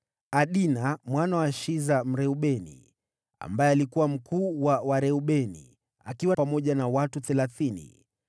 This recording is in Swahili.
Adina mwana wa Shiza Mreubeni, ambaye alikuwa mkuu wa Wareubeni, akiwa pamoja na watu thelathini,